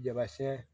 Jaba sɛn